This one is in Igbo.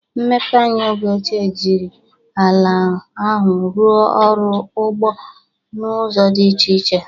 Mmepe anya oge ochie jiri ala ahụ rụọ ọrụ ugbo n'ụzọ dị iche iche.